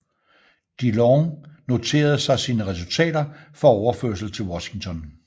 De Long noterede sig sine resultater for overførsel til Washington